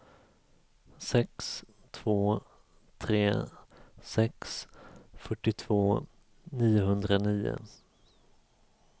sex två tre sex fyrtiotvå niohundranio